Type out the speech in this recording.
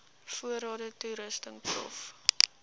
voorrade toerusting prof